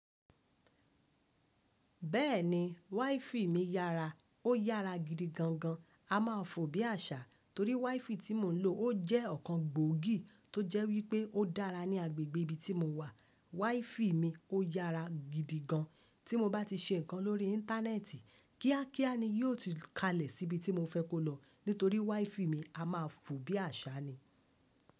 Bẹ́ẹ̀ni, wiFi mi yára. Ó yára gidi gan gan. A ma fò bí àṣá torí wiFi tí mò ń lò ó jẹ́ ọ̀kan gbòógì tó jẹ́ wípé ó dára ní agbègbè ibi tí mò wà. WiFi mi ó yára gidi gan. Tí mo bá ti ṣe nǹkan lórí íńtánẹ́ẹ̀tì, kíá kíá ni yíò ti kalẹ̀ sí ibi tí mò fẹ́ kó lọ nítorí wiFi mi a ma fò bí àṣá ni.